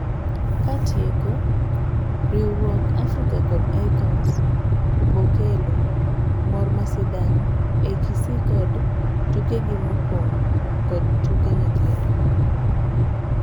Katieko, riwruok Africa kod Icons Hubokelo mor masidang' ei Kisii kod tukegi mopong' kod tuke nyithindo.